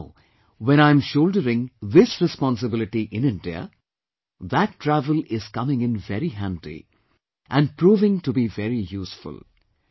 And now, when I am shouldering this responsibility in India, that travel is coming in very handy and proving to be very useful